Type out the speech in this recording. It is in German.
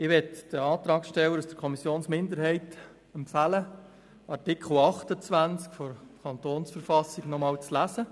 Ich möchte den Antragstellern aus der Kommissionsminderheit empfehlen, den Artikel 28 KV nochmals zu lesen.